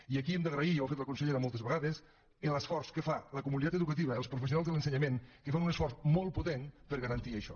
i aquí hem d’agrair ja ho ha fet la consellera moltes vegades l’esforç que fa la comunitat educativa els professionals de l’ensenyament que fan un esforç molt potent per garantir això